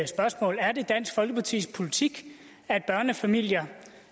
spørgsmål er det dansk folkepartis politik at børnefamilier